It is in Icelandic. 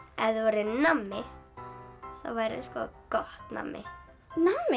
ef þú værir nammi þá værirðu gott nammi nammi